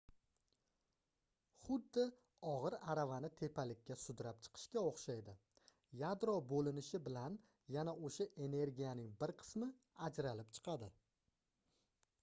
xuddi ogʻir aravani tepalikka sudrab chiqishga oʻxshaydi yadro boʻlinishi bilan yana oʻsha energiyaning bir qismi ajralib chiqadi